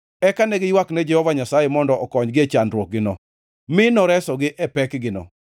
Eka ne giywakne Jehova Nyasaye mondo okonygi e chandruokgino mi noresogi e pekgino.